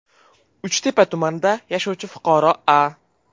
Uchtepa tumanida yashovchi fuqaro A.